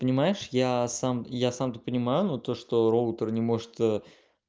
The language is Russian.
понимаешь я сам я сам-то понимаю но то что роутер не может